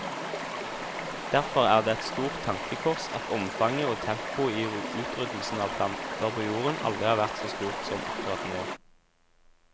Derfor er det et stort tankekors at omfanget og tempoet i utryddelsen av planter på jorden aldri har vært så stort som akkurat nå.